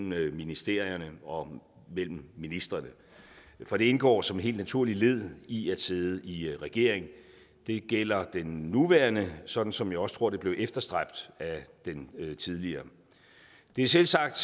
mellem ministerierne og mellem ministrene for det indgår som et helt naturligt led i at sidde i regering det gælder den nuværende sådan som jeg også tror det blev efterstræbt af den tidligere det er selvsagt